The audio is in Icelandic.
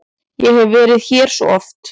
Ég hef verið hér svo oft.